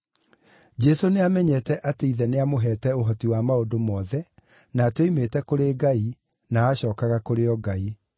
Jesũ nĩamenyete atĩ Ithe nĩamũheete ũhoti wa maũndũ mothe, na atĩ oimĩte kũrĩ Ngai, na acookaga kũrĩ o Ngai;